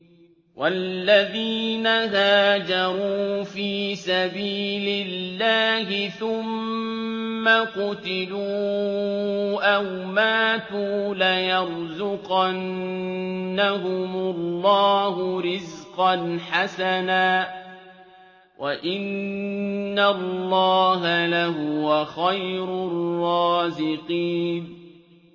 وَالَّذِينَ هَاجَرُوا فِي سَبِيلِ اللَّهِ ثُمَّ قُتِلُوا أَوْ مَاتُوا لَيَرْزُقَنَّهُمُ اللَّهُ رِزْقًا حَسَنًا ۚ وَإِنَّ اللَّهَ لَهُوَ خَيْرُ الرَّازِقِينَ